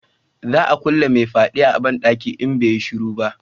Za a kulle mai fyaden a banɗaki in bai yi shiru ba